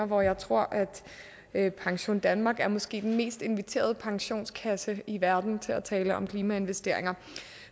hvor jeg tror at pensiondanmark måske er den mest inviterede pensionskasse i verden til at tale om klimainvesteringer